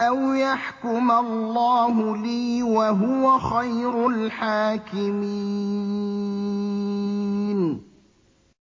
أَوْ يَحْكُمَ اللَّهُ لِي ۖ وَهُوَ خَيْرُ الْحَاكِمِينَ